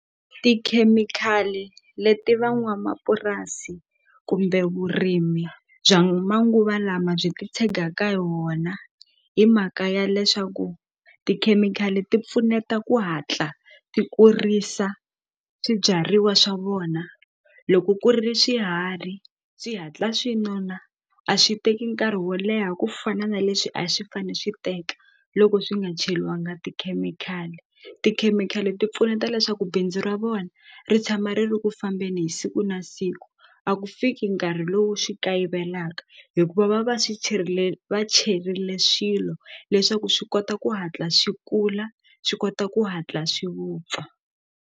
Tikhemikhali leti van'wamapurasi kumbe vurimi bya manguva lama byi titshegaka hi wona hi mhaka ya leswaku tikhemikhali ti pfuneta ku hatla ti kurisa swibyariwa swa vona loko ku ri swiharhi swi hatla swi nona a swi teki nkarhi wo leha ku fana na leswi a swi fane swi teka loko swi nga cheliwanga tikhemikhali tikhemikhali ti pfuneta leswaku bindzu ra vona ri tshama ri ri ku fambeni hi siku na siku a ku fiki nkarhi lowu swi kayivelaka hikuva va va swi cherile va cherile swilo leswaku swi kota ku hatla swi kula swi kota ku hatla swi vupfa.